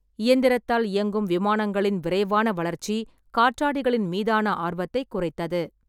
இயந்திரத்தால் இயங்கும் விமானங்களின் விரைவான வளர்ச்சி காற்றாடிகளின் மீதான ஆர்வத்தைக் குறைத்தது.